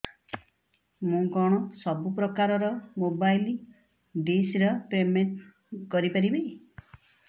ମୁ କଣ ସବୁ ପ୍ରକାର ର ମୋବାଇଲ୍ ଡିସ୍ ର ପେମେଣ୍ଟ କରି ପାରିବି